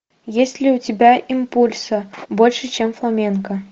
есть ли у тебя импульсо больше чем фламенко